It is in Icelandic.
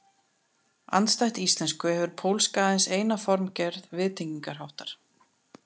Andstætt íslensku hefur pólska aðeins eina formgerð viðtengingarháttar.